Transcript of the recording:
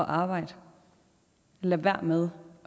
arbejde lad være med